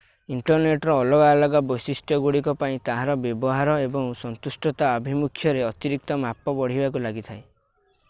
ଇଣ୍ଟରନେଟର ଅଲଗା ଅଲଗା ବୈଶିଷ୍ଟ୍ୟଗୁଡିକ ପାଇଁ ତାହାର ବ୍ୟବହାର ଏବଂ ସନ୍ତୁଷ୍ଟତା ଆଭିମୁଖ୍ୟରେ ଅତିରିକ୍ତ ମାପ ବଢିବାକୁ ଲାଗିଥାଏ